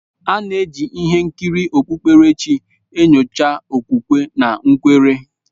A na-eji ihe nkiri okpukpere chi enyocha okwukwe na nkwere.